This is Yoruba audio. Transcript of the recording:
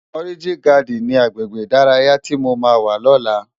Òrijín Gàdín ni àgbégbé idàráyá ti mó má wá lòlá?